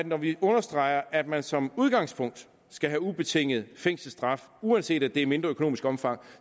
når vi understreger at man som udgangspunkt skal have ubetinget fængselsstraf uanset at det er af mindre økonomisk omfang